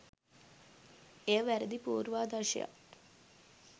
එය වැරදි පූර්වාදර්ශයක්